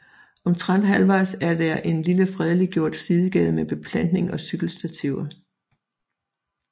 Omtrent halvvejs er der en lille fredeliggjort sidegade med beplantning og cykelstativer